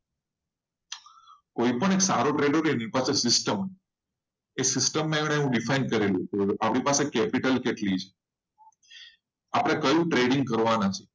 કોઈ પણ એક સારો trader હોય એ system માં એને define કરેલું આપણે પાસે કૅપિટલ કેટલી છે આપણે કયું trading કરવાના છે?